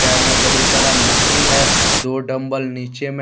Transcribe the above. में बहुत सारा मशीन है दो डंबल नीचे में--